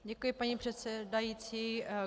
Děkuji, paní předsedající.